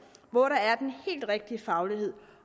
hvor der er den helt rigtige faglighed